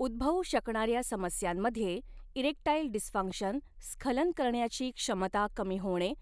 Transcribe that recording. उद्भवू शकणार्या समस्यांमध्ये इरेक्टाइल डिसफंक्शन, स्खलन करण्याची क्षमता कमी होणे,